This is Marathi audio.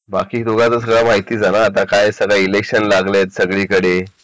बाकी तुला आता काय सगळा माहीतच आहे इलेक्शन लागले आहे सगळीकडे